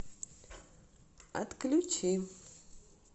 отключи